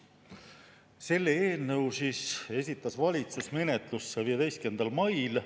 Selle eelnõu esitas valitsus menetlusse 15. mail.